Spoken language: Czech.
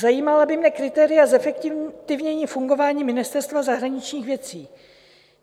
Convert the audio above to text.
Zajímala by mě kritéria zefektivnění fungování Ministerstva zahraničních věcí.